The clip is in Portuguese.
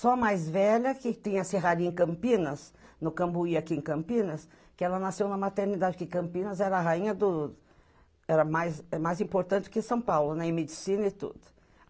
Só a mais velha, que tinha a Serraria em Campinas, no Cambuí aqui em Campinas, que ela nasceu na maternidade aqui em Campinas, era a rainha do... era mais, é mais importante que São Paulo, né, em medicina e tudo.